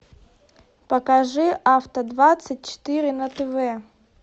покажи авто двадцать четыре на тв